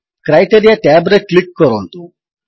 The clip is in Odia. କ୍ରାଇଟେରିଆ ଟ୍ୟାବ୍ ରେ କ୍ଲିକ୍ କରନ୍ତୁ